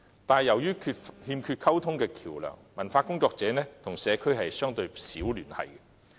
但是，由於欠缺溝通橋樑，文化工作者與社區的聯繫相對少。